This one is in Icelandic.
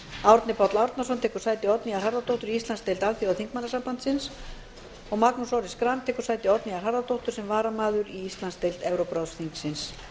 árni páll árnason tekur sæti oddnýjar harðardóttur í íslandsdeild alþjóðaþingmannasambandsins magnús orri schram tekur sæti oddnýjar harðardóttir sem varamaður í íslandsdeild evrópuráðsþingsins